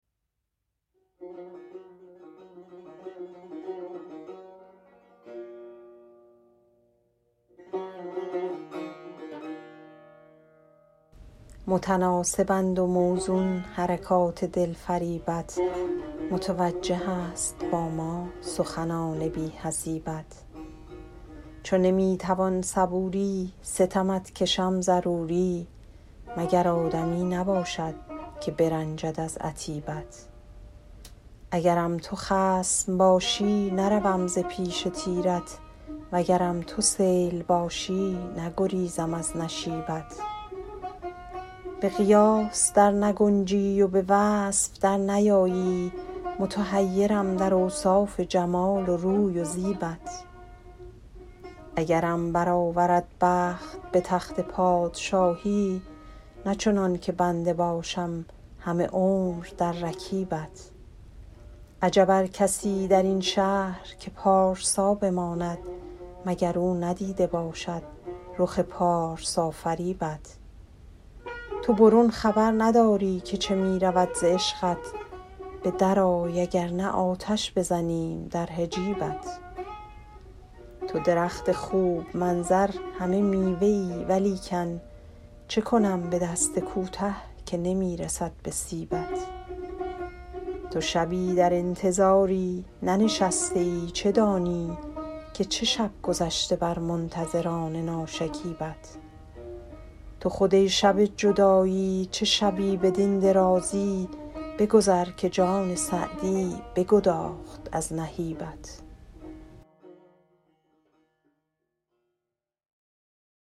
متناسبند و موزون حرکات دلفریبت متوجه است با ما سخنان بی حسیبت چو نمی توان صبوری ستمت کشم ضروری مگر آدمی نباشد که برنجد از عتیبت اگرم تو خصم باشی نروم ز پیش تیرت وگرم تو سیل باشی نگریزم از نشیبت به قیاس در نگنجی و به وصف در نیایی متحیرم در اوصاف جمال و روی و زیبت اگرم برآورد بخت به تخت پادشاهی نه چنان که بنده باشم همه عمر در رکیبت عجب از کسی در این شهر که پارسا بماند مگر او ندیده باشد رخ پارسافریبت تو برون خبر نداری که چه می رود ز عشقت به درآی اگر نه آتش بزنیم در حجیبت تو درخت خوب منظر همه میوه ای ولیکن چه کنم به دست کوته که نمی رسد به سیبت تو شبی در انتظاری ننشسته ای چه دانی که چه شب گذشت بر منتظران ناشکیبت تو خود ای شب جدایی چه شبی بدین درازی بگذر که جان سعدی بگداخت از نهیبت